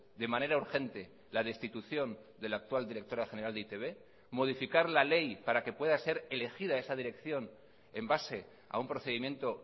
de manera urgente la destitución de la actual directora general de e i te be modificar la ley para que pueda ser elegida esa dirección en base a un procedimiento